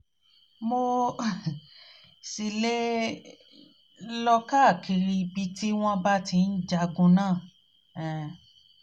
mo um ṣì lè um lè um lọ káàkiri ibi tí wọ́n ti ń jagun náà um